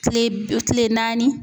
Tile tile naani